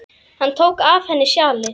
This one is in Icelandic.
Hann tók af henni sjalið.